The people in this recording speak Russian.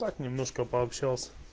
так немножко пообщался